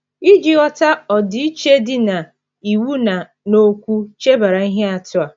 Iji ghọta ọdịiche dị n’iwu na n’okwu, chebara ihe atụ a.